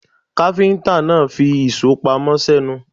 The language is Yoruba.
Káfíńtà náà fi ìṣó pamọ́ sẹ́nu.